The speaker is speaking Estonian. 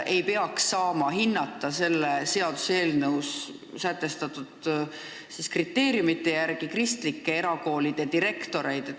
Nende arvates ei peaks selles seaduseelnõus sätestatud kriteeriumide järgi saama hinnata kristlike erakoolide direktoreid.